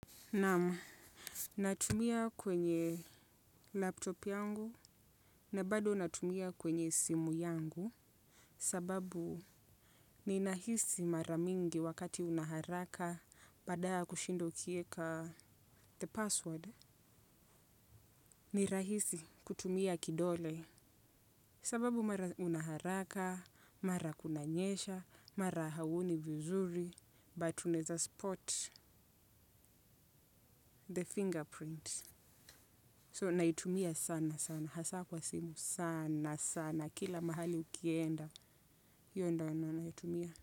Naam, natumia kwenye laptop yangu na bado natumia kwenye simu yangu. Sababu ninahisi mara mingi wakati una haraka badala ya kushinda ukieka the password. Ni rahisi kutumia kidole. Sababu mara una haraka, mara kunanyesha, mara hauoni vizuri, but unaeza spot the fingerprint. So naitumia sana sana, hasa kwa simu sana sana, kila mahali ukienda, hiyo ndio huwa naitumia.